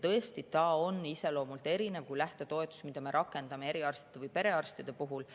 Tõesti, see on iseloomult kui lähtetoetus, mida me rakendame eriarstide või perearstide puhul.